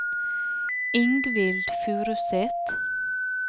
Ingvild Furuseth